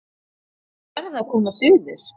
Þau verða að koma suður!